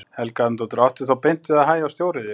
Helga Arnardóttir: Áttu þá beint við að hægja á stóriðju?